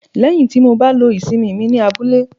lẹyìn ti ba lo ìsimi mí ní abúlé